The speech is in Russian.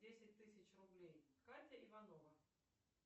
десять тысяч рублей катя иванова